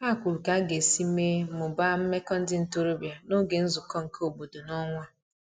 Ha kwuru ka aga esi mee/mụbaa meko ndi ntorobia n'oge nzuko nke obodo n'onwa